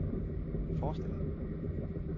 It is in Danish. forestille